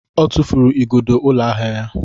Ọ tụfuru igodo ụlọ ahịa ya.